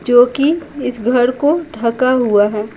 जोकि इस घर को ढका हुआ है।